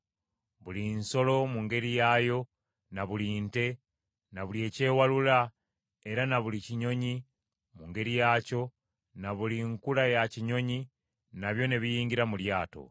Buli nsolo mu ngeri yaayo na buli nte, na buli ekyewalula, era na buli kinyonyi mu ngeri yaakyo na buli nkula ya kinyonyi, nabyo ne biyingira mu lyato.